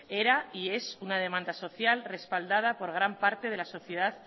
era y es una demanda social respaldada por gran parte de la sociedad